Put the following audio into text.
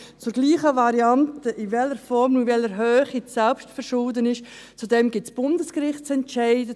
Zur gleichen Variante, in welcher Form und welcher Höhe das Selbstverschulden ist, dazu gibt es Bundesgerichtsentscheide.